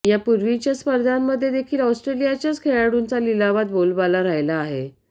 यापूर्वीच्या स्पर्धांमध्ये देखील ऑस्ट्रेलियाच्याच खेळाडूंचा लिलावात बोलबाला राहिला आहे